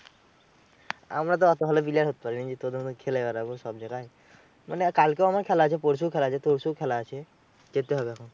আমরা তো ওতো ভালো player হতে পারিনি তোদের মতো খেলে বেড়াবো সব জাগায়। মানে কালকেও আমার খেলা আছে, পরশু খেলা, আছে তরশু ও খেলা আছে, যেতে হবে এখন।